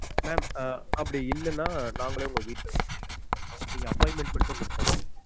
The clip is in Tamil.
Mam அப்டி இல்லனா நாங்களே உங்க வீட்ல வந்து நேர்ல வந்து meet பண்றொம் நீங்க appointment மட்டும் குடுத்தா போதும்